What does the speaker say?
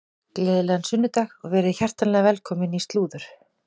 Gleðilegan sunnudag og verið hjartanlega velkomin í slúður.